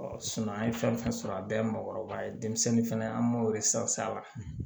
an ye fɛn fɛn sɔrɔ a bɛɛ ye mɔgɔkɔrɔba ye denmisɛnnin fɛnɛ an m'o a la